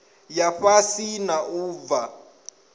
ya fhasi na u bva